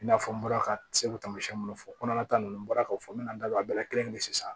I n'a fɔ n bɔra ka se k'o taamasiyɛn minnu fɔ kɔnɔna ta ninnu bɔra ka fɔ n bɛ na n da don a bɛɛ la kelen kelen kelen sisan